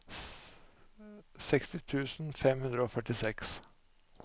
seksti tusen fem hundre og førtiseks